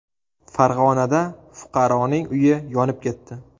Farg‘onada fuqaroning uyi yonib ketdi.